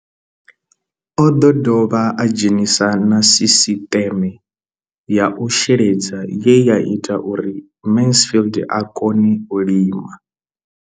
O ḓo dovha a dzhenisa na sisiṱeme ya u sheledza ye ya ita uri Mansfied a kone u lima.